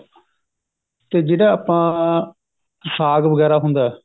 ਤੇ ਜਿਹੜਾ ਆਪਣਾ ਸਾਗ ਵਗੇਰਾ ਹੁੰਦਾ